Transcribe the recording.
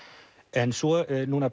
en svo